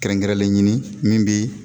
Kɛrɛnkɛrɛnlen ɲini min bɛ